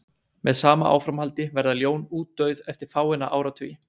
Með sama áframhaldi verða ljón útdauð eftir fáeina áratugi.